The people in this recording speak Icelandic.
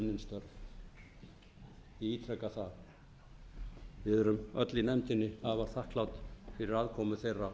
ég ítreka það við erum öll í nefndinni afar þakklát fyrir aðkomu þeirra